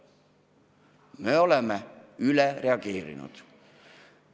Me oleme üle reageerinud.